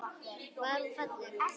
Var hún falleg?